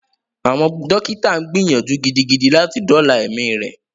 Àwọn dókítà gbìyànjú gidigidi láti dóòla ẹmí rẹ.